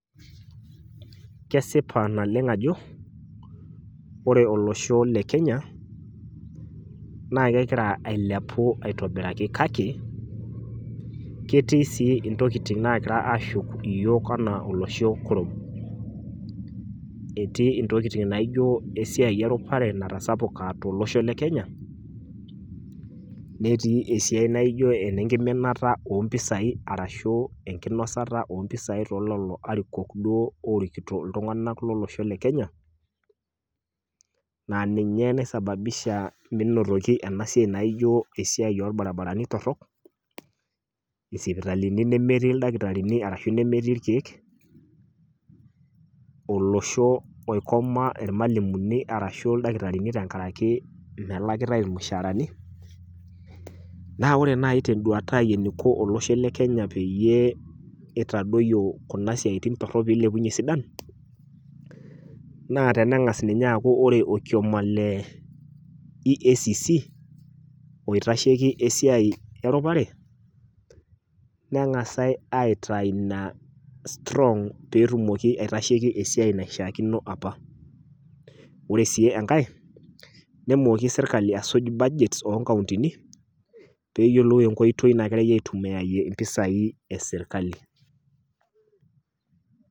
Kesipa naleng ajo, ore olosho le Kenya, naa kegira ailepu aitobiraki kake, ketii sii ntokitin naagira aashuk iyiok enaa olosho kurum. Etii ntokitin naijo esiai e rupare natasapuka to losho le Kenya. Netii esiai naijo enkiminata oo mpisai ashu enkinosata oo mpisai too lelo arikok oorikito duo iltung`anak lo losho le Kenya. Naa ninye nai sasababisha menotoki ena siai naijo esiai oo ilbaribarani torrok, isipitalini nemetii ildakitarini arashu nemetii ilkiek, olosho oikoma ilmalimunii arashu ildakitarini tenkaraki melakitae ilmushaharani. Naa ore naaji te n`duata ai eniko olosho le Kenya pee eitadoyio kuna siaitin torrok pee eilepunyie isidan. Naa teneeng`as ninye aaku ore olkioma le EACC oitasheki esiai e rupare neng`as aitayu ina strong pee etumoki aitasheki esiai naishiakino apa. Ore sii enkae nemooki sirkali aisuj budget oo nkauntini pee eyiolou enkoitoi nagirai aitumiyaiyie mpisai e sirkali.